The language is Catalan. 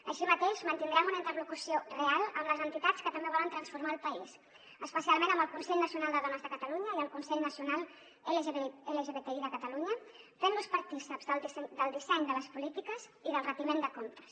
així mateix mantindrem una interlocució real amb les entitats que també volen transformar el país especialment amb el consell nacional de dones de catalunya i el consell nacional lgbti de catalunya fent los partícips del disseny de les polítiques i del retiment de comptes